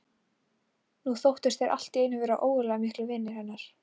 Nú þóttust þeir allt í einu vera ógurlega miklir vinir hennar.